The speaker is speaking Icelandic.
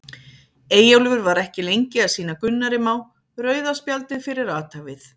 Eyjólfur var ekki lengi að sýna Gunnari Má rauða spjaldið fyrir athæfið.